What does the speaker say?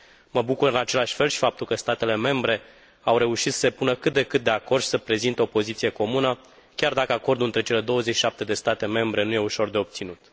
Mă bucur, în același fel, și pentru faptul că statele membre au reușit să se pună cât de cât de acord și să prezinte o poziție comună, chiar dacă acordul între cele 27 de state membre nu e ușor de obținut.